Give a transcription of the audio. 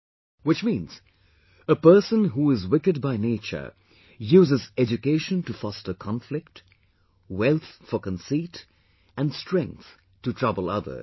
Which means, a person who is wicked by nature, uses education to foster conflict, wealth for conceit and strength to trouble others